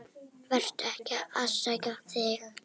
Vertu ekki að afsaka þig.